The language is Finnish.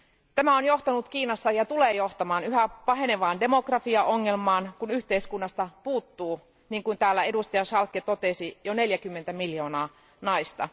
Tämä on johtanut Kiinassa ja tulee johtamaan yhä pahenevaan demokratiaongelmaan, kun yhteiskunnasta puuttuu, niin kuin täällä jäsen Schaake totesi, jo 40 miljoonaa naista.